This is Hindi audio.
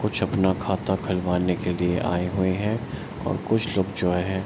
कुछ अपना खाता खुलवाने के लिए आए हुए हैं और कुछ लोग जो है --